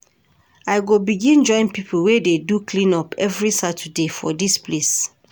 I go begin join pipo wey dey do clean-up every Saturday for dis place.